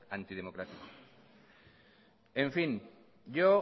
antidemocrático en fin yo